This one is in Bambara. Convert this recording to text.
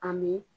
A m